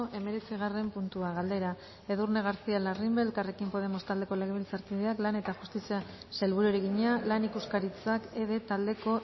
hemeretzigarren puntua galdera edurne garcía larrimbe elkarrekin podemos taldeko legebiltzarkideak lan eta justizia sailburuari egina lan ikuskaritzak ede taldeko